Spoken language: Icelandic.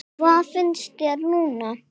Hvað finnst þér núna?